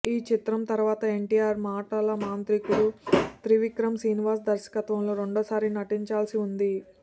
ఈ చిత్రం తర్వాత ఎన్టీఆర్ మాటలమాంత్రికుడు త్రివిక్రమ్ శ్రీనివాస్ దర్శత్వంలో రెండవసారి నటించాల్సి ఉంది